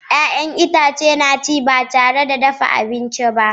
Ya'yan itãcen marmari na iya ci ba tare da dafa abinci ba